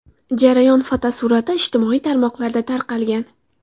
Jarayon fotosurati ijtimoiy tarmoqlarda tarqalgan.